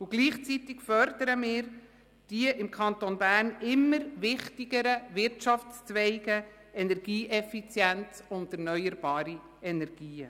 Gleichzeitig fördern wir die im Kanton Bern immer wichtigeren Wirtschaftszweige Energieeffizienz und erneuerbare Energien.